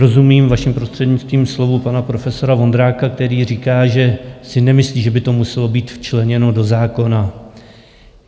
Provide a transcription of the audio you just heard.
Rozumím, vaším prostřednictvím, slovům pana profesora Vondráka, který říká, že si nemyslí, že by to muselo být včleněno do zákona.